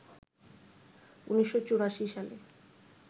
১৯৮৪ সালে